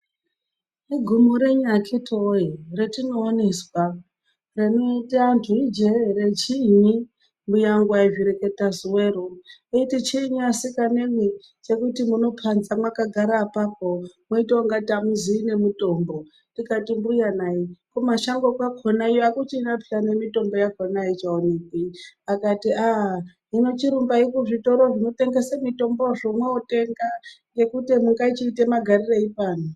Igumo renyi akhiti wee ratinooneswa, rinoita anthu ijee ere chiinyi. Mbuya angu aizvireketa zuwero eiti chiinyi asikanemwi chekuti munokhanza mwakagara apapo mweitonga ungati amuzii nemitombo. Ndikati mbuya nayi kumashango kwakhona iyo akuchina phiya nemitombo yakhona aichaonekwi. Akatii, "aa hino chirumbai kuzvitoro zvinotengese mitombozvo mwotenga ngekuti mungachiite magarirei pano".